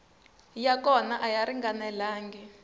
ya kona a ya ringanelangi